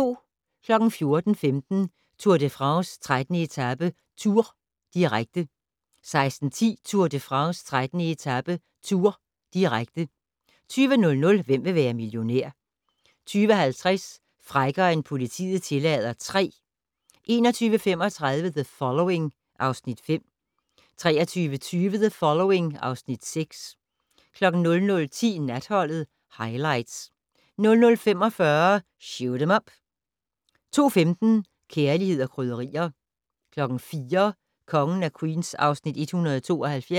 14:15: Tour de France: 13. etape - Tours, direkte 16:10: Tour de France: 13. etape - Tours, direkte 20:00: Hvem vil være millionær? 20:50: Frækkere end politiet tillader III 22:35: The Following (Afs. 5) 23:20: The Following (Afs. 6) 00:10: Natholdet - Highlights 00:45: Shoot 'Em Up 02:15: Kærlighed & krydderier 04:00: Kongen af Queens (Afs. 172)